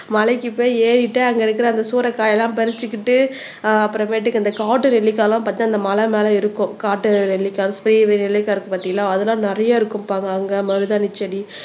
மலைக்குப் போய் ஏறிட்டு அங்க இருக்கிற அந்த சூறைக்காயெல்லாம் பறிச்சுக்கிட்டு ஆஹ் அப்புறமேட்டுக்கு அந்த காட்டு நெல்லிக்காய் எல்லாம் பாத்தா அந்த மலை மேல இருக்கும் காட்டு நெல்லிக்காய் பெரிய பெரிய நெல்லிக்காய் இருக்கு பாத்தீங்களா அதெல்லாம் நிறைய இருக்கும்பாங்க அங்க மருதாணி செடி